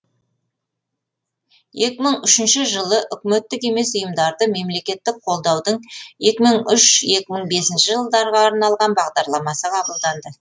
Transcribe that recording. екі мың үшінші жылы үкіметтік емес ұйымдарды мемлекеттік қолдаудың екі мың үш екі мың бес жылдарға арналған бағдарламасы қабылданды